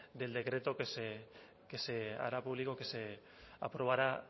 del decreto que se hará público que se aprobará